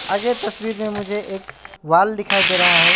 और ये तस्वीर में मुझे एक वॉल दिखाई दे रहा है।